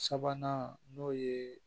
Sabanan n'o ye